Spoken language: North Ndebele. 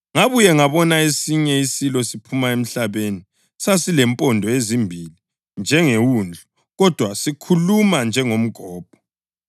Ngabuya ngabona esinye isilo siphuma emhlabeni. Sasilempondo ezimbili njengewundlu, kodwa sikhuluma njengomgobho.